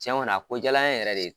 Tiɲɛ kɔni a ko diyala n yɛrɛ de ye.